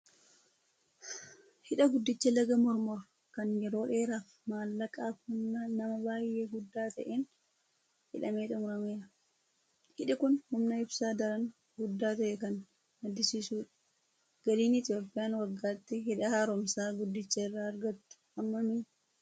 Hidha guddicha laga Mormor kan yeroo dheeraaf maallaqaa fi humna namaa baay'ee guddaa ta'een hidhamee xumurame. Hidhi kun humna ibsaa daran guddaa ta'e kan maddisiisudha. Galiin Itoophiyaan waggaatti hidha haaromsaa guddicha irraa argattu hammami?